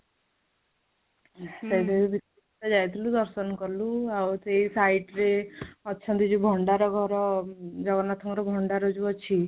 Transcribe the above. ସେଇଟା ବି ଦେଖିବାକୁ ଯାଇଥିଲୁ ଦର୍ଶନ କଲୁ ଆଉ ସେଇ site ରେ ଅଛନ୍ତି ଯୋଉ ଭଣ୍ଡାର ଘର ଜଗନ୍ନାଥଙ୍କ ର ଭଣ୍ଡାର ଯୋଉଁ ଅଛି